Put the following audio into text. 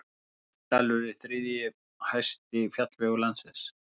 Kaldidalur er þriðji hæsti fjallvegur landsins.